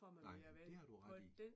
Nej, men det har du ret i